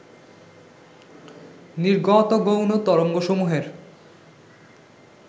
নির্গত গৌণ তরঙ্গসমূহের